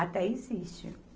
Até existe.